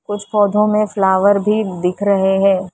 कुछ पौधों में फ्लावर भी दिख रहे हैं।